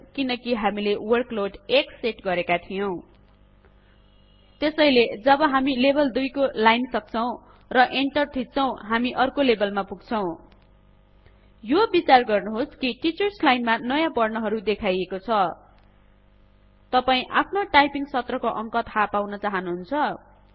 किनकि हामीले workload १ set गरेका थियौं त्यसैले जब हामी लेभल २ को एक लाइन सक्छौं र एंटर थिच्छौं हामी अर्को लेभलमा पुग्छौं यो बिचार गर्नुहोस् कि टीचर्स लाइनमा नयाँ बर्ण हरु देखाइएको छ तपाई आफ्नो टाइपिंग सत्र को अंक थाहा पाउन चाहनुहुन्छ